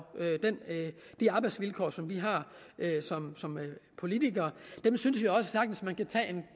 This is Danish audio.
de arbejdsvilkår som vi som politikere har synes vi også sagtens man kan tage